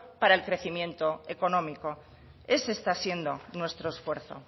para el crecimiento económico ese está siendo nuestro esfuerzo